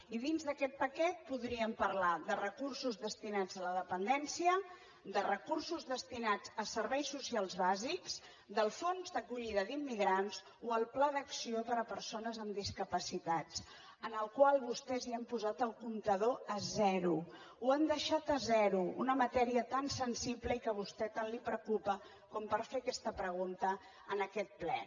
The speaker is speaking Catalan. i dins d’aquest paquet podríem parlar de recursos destinats a la dependència de recursos destinats a serveis socials bàsics del fons d’acollida d’immigrants o el pla d’acció per a persones amb discapacitats en el qual vostès han posat el comptador a zero ho han deixat a zero una matèria tan sensible i que a vostè tant li preocupa com per fer aquesta pregunta en aquest ple